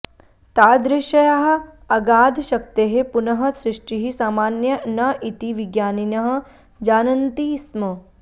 तादृश्याः अगाधशक्तेः पुनः सृष्टिः सामान्या न इति विज्ञानिनः जानन्ति स्म